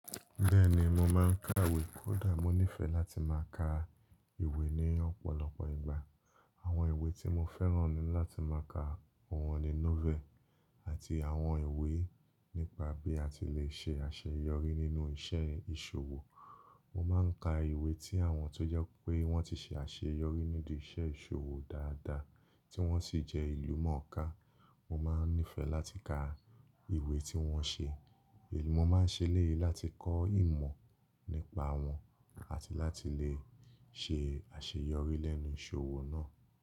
Bẹ́ẹ̀ni mo máa ń ka ìwé kódà mo nífẹ̀ẹ́ láti máa ka ìwé ní ọ̀pọ̀lọpọ̀ ìgbà. Àwọn ìwé tí mo fẹ́ràn ni láti máa ka oun ni novel àti àwọn ìwé nípa bí a ti lè ṣe àṣeyọrí nínú iṣẹ́ ìṣòwò. Mo máa ń ka ìwé tí àwọn tó jẹ́ pé wọ́n ti ṣe àṣeyọrí ní idi ìṣe ìṣòwò dáadáa tí wọ́n sì jẹ́ ìlúmọ̀ọ́ká. Mo máa ń nífẹ̀ẹ́ láti ka ìwé tí wọ́n ṣe èmi. Mo máa ń ṣe lèyí láti kọ́ ìmọ̀ nípa wọn àti láti lè ṣe àṣeyọrí lẹ́nu ìṣòwò náà.